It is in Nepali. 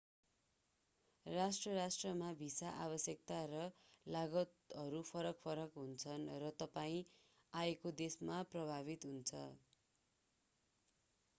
राष्ट्र-राष्ट्रमा भिसा आवश्यकता र लागतहरू फरक-फरक हुन्छन् र तपाईं आएके देशमा प्रभावित हुन्छ